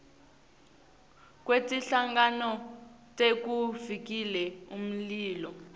kwetinhlangano tekuvikela umlilo